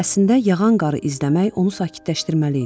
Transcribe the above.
Əslində yağan qarı izləmək onu sakitləşdirməli idi.